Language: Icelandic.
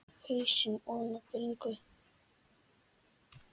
Hausinn ofan í bringu.